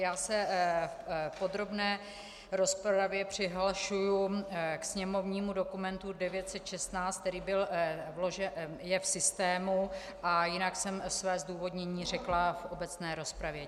Já se v podrobné rozpravě přihlašuji ke sněmovnímu dokumentu 916, který je v systému, a jinak jsem své zdůvodnění řekla v obecné rozpravě.